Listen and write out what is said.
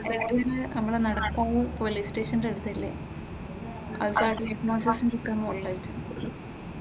നമ്മുടെ നടക്കാവ് പോലീസ്‌ സ്റ്റേഷന്റെ അടുത്തല്ലേ, അത് ഉള്ളതല്ലേ.